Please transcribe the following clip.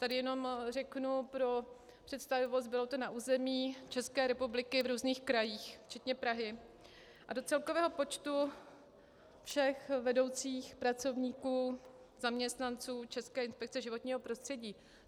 Tady jenom řeknu pro představivost, bylo to na území České republiky v různých krajích včetně Prahy a do celkového počtu všech vedoucích pracovníků, zaměstnanců České inspekce životního prostředí.